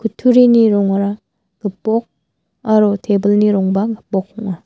kutturini rongara gipok aro tebilni rongba gipok ong·a.